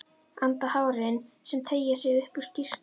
Anda á hárin sem teygja sig upp úr skyrtunni.